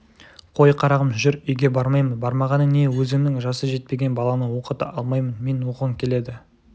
қой қарағым жүр үйге бармаймын бармағаның не өзіңнің жасы жетпеген баланы оқыта алмаймын мен оқығың келеді